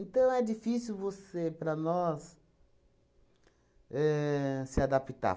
Então, é difícil você, para nós, ahn se adaptar.